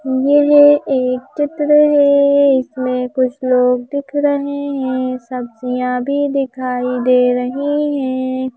यह एक चित्र है इसमें कुछ लोग दिख रहे हैं सब्जियां भी दिखाई दे रही है।